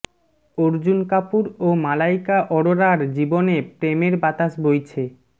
অর্জুন কাপুর ও মালাইকা অরোরার জীবনে প্রেমের বাতাস বইছে